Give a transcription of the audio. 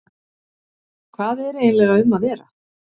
Hvað er eiginlega um að vera?